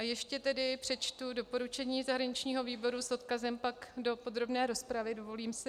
A ještě tedy přečtu doporučení zahraničního výboru, s odkazem pak do podrobné rozpravy, dovolím si.